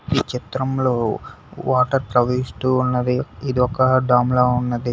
ఈ చిత్రంలో వాటర్ ప్రవహిస్తూ ఉన్నది ఇది ఒక డాం లా ఉన్నది.